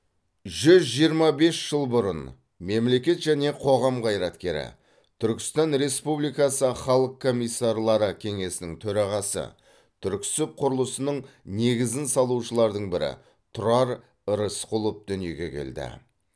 жүз жиырма бес жыл бұрын мемлекет және қоғам қайраткері түркістан республикасы халық комиссарлары кеңесінің төрағасы түрксіб құрылысының негізін салушылардың бірі тұрар рысқұлов дүниеге келді